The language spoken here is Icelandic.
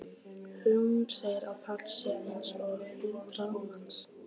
Hún segir að Páll sé eins og hundrað manns.